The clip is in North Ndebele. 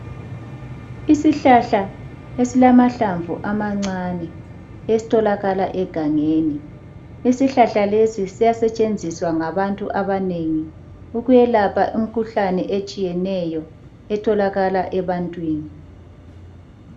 Isihlahla esilamahlamvu amancane esitholakala egangeni. Isihlahla lesi siyasetshenziswa ngabantu abanengi ukuyelapha imikhuhlane etshiyeneyo etholakala ebantwini.